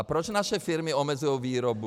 A proč naše firmy omezují výrobu?